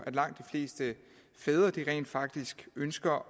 langt de fleste fædre rent faktisk ønsker